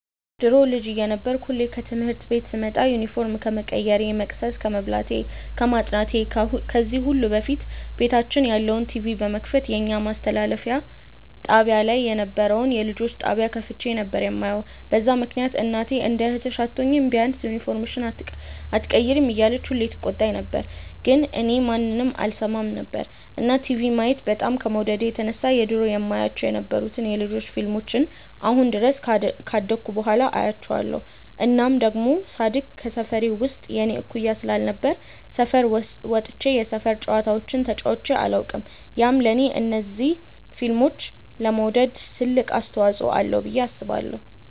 ድሮ ልጅ እየነበርኩ ሁሌ ከትምህርት ቤት ስመጣ ዩኒፎርም ከመቀየሬ፣ መቅሰስ ከመብላቴ፣ ከማጥናቴ ከዚህ ሁሉ በፊት ቤታችን ያለውን ቲቪ በመክፈት የኛ ማስተላለፊያ ጣብያ ላይ የነበረውን የልጆች ጣብያ ከፍቼ ነበር የማየው፤ በዛ ምክንያት እናቴ እንደ እህትሽ አትሆኚም፤ ቢያንስ ዩኒፎርምሽን ኣትቀይሪም እያለች ሁሌ ትቆጣኝ ነበር ግን እኔ ማንንም አልሰማም ነበር። እና ቲቪ ማየት በጣም ከመውደዴ የተነሳ የድሮ የማያቸው የነበሩትን የ ልጆች ፊልሞችን አሁን ድረስ ካደኩ በኋላ አያቸዋለው። እናም ደሞ ሳድግ ከሰፈሬ ውስጥ የኔ እኩያ ስላልነበረ ሰፈር ወጥቼ የሰፈር ጨዋታዎችን ተጫዉቼ ኣላውቅም፤ ያም ለኔ እንደዚ ፊልም ለመውደድ ትልቅ አስተዋፅዎ አለው ብዬ አስባለው።